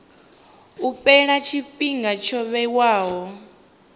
u fhela tshifhinga tsho vhewaho